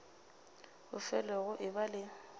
go fele go eba le